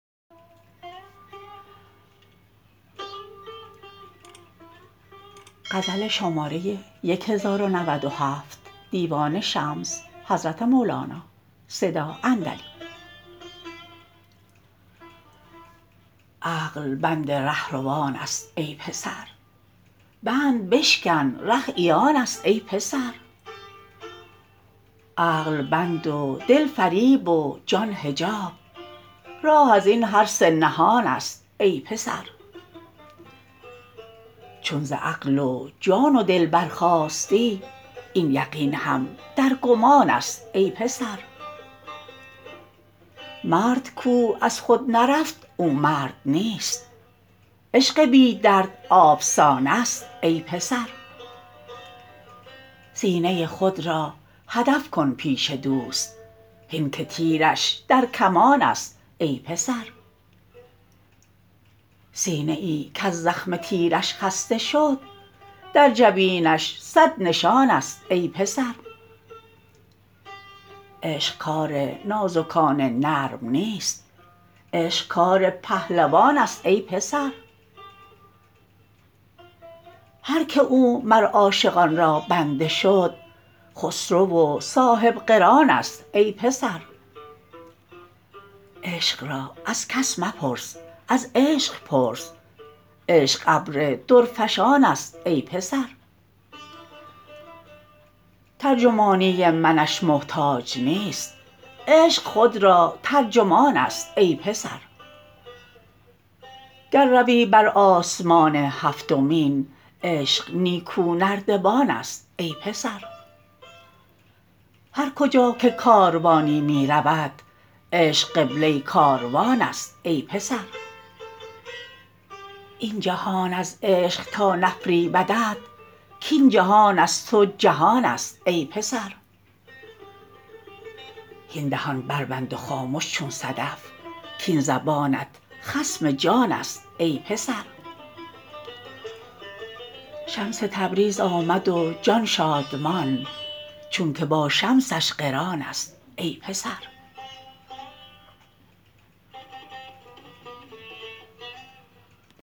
عقل بند رهروانست ای پسر بند بشکن ره عیانست ای پسر عقل بند و دل فریب و جان حجاب راه از این هر سه نهانست ای پسر چون ز عقل و جان و دل برخاستی این یقین هم در گمانست ای پسر مرد کو از خود نرفت او مرد نیست عشق بی درد آفسانست ای پسر سینه خود را هدف کن پیش دوست هین که تیرش در کمانست ای پسر سینه ای کز زخم تیرش خسته شد در جبینش صد نشانست ای پسر عشق کار نازکان نرم نیست عشق کار پهلوانست ای پسر هر کی او مر عاشقان را بنده شد خسرو و صاحب قرانست ای پسر عشق را از کس مپرس از عشق پرس عشق ابر درفشانست ای پسر ترجمانی منش محتاج نیست عشق خود را ترجمانست ای پسر گر روی بر آسمان هفتمین عشق نیکونردبانست ای پسر هر کجا که کاروانی می رود عشق قبله کاروانست ای پسر این جهان از عشق تا نفریبدت کاین جهان از تو جهانست ای پسر هین دهان بربند و خامش چون صدف کاین زبانت خصم جانست ای پسر شمس تبریز آمد و جان شادمان چونک با شمسش قرانست ای پسر